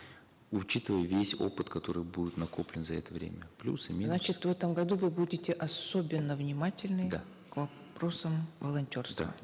учитывая весь опыт который будет накоплен за это время плюсы значит в этом году вы будете особенно внимательны да к вопросам волонтерства да